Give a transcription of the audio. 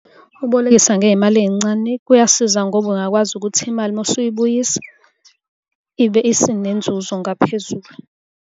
Ukubolekisa ngey'mali ey'ncane kuyasiza ngoba ungakwazi ukuthi imali uma usuyibuyisa ibe isinenzuzo ngaphezulu.